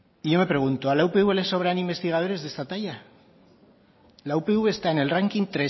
y yo me pregunto a la upv le sobran investigadores de esta talla la upv está en el ranking